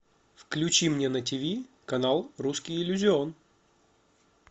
включи мне на ти ви канал русский иллюзион